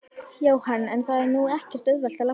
Jóhann: En það er nú ekkert auðvelt að labba?